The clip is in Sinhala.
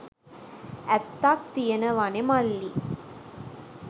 ඇත්තක් තියනවනෙ මල්ලි.